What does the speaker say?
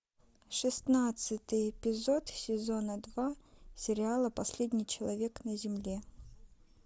шестнадцатый эпизод сезона два сериала последний человек на земле